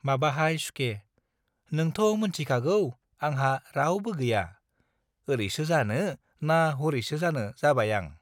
माबाहाय सुखे - नोंथ' मोनथिखागौ आंहा रावबो गैया, ओरैसो जानो ना हरैसो जानो जाबाय आं।